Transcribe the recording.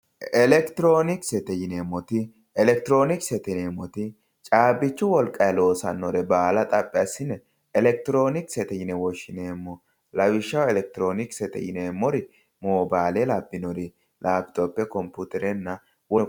Elekitironkisete yineemmoti caabbichu wolqanni loossanore baalla xaphi assine elekitironkisete yine woshshineemmo lawishshaho elekitironkisete yineemmori mobale labbinori labitophe, computerenna woleno kuri.